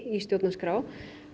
í stjórnarskrá